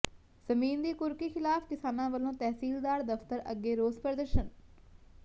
ਜ਼ਮੀਨ ਦੀ ਕੁਰਕੀ ਿਖ਼ਲਾਫ਼ ਕਿਸਾਨਾਂ ਵਲੋਂ ਤਹਿਸੀਲਦਾਰ ਦਫ਼ਤਰ ਅੱਗੇ ਰੋਸ ਪ੍ਰਦਰਸ਼ਨ